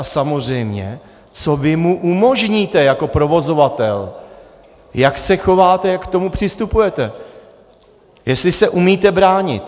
A samozřejmě co vy mu umožníte jako provozovatel, jak se chováte, jak k tomu přistupujete, jestli se umíte bránit.